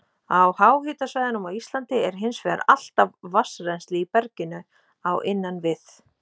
Á háhitasvæðum á Íslandi er hins vegar alltaf vatnsrennsli í berginu á innan við